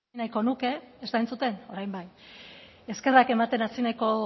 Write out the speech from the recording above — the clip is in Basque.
eskerrak ematen hasi nahiko